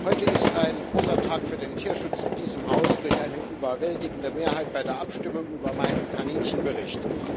Heute ist ein großer Tag für den Tierschutz in diesem Haus durch eine überwältigende Mehrheit bei der Abstimmung über meinen Kaninchen Bericht.